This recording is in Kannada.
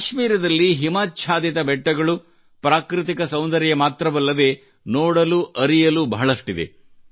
ಕಾಶ್ಮೀರದಲ್ಲಿ ಹಿಮಚ್ಛಾದಿತ ಬೆಟ್ಟಗಳು ಪ್ರಾಕೃತಿಕ ಸೌಂದರ್ಯ ಮಾತ್ರವಲ್ಲದೇ ನೋಡಲುಅರಿಯಲು ಬಹಳಷ್ಟಿದೆ